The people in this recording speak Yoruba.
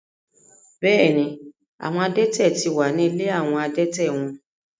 Bẹ́ẹ̀ ni, àwọn adẹ́tẹ̀ ti wà ní ilé àwọn adẹ́tẹ̀ wọn.